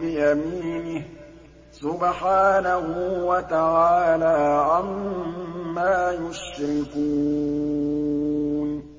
بِيَمِينِهِ ۚ سُبْحَانَهُ وَتَعَالَىٰ عَمَّا يُشْرِكُونَ